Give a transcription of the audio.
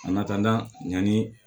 A nata yanni